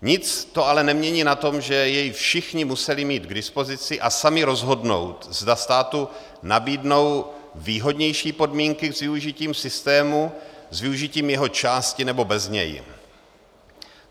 Nic to ale nemění na tom, že jej všichni museli mít k dispozici a sami rozhodnout, zda státu nabídnou výhodnější podmínky s využitím systému, s využitím jeho části, nebo bez něj.